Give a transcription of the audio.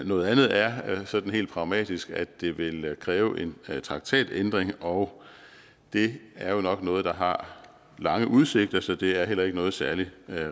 noget andet er sådan helt pragmatisk at det ville kræve en traktatændring og det er jo nok noget der har lange udsigter så det er heller ikke noget særlig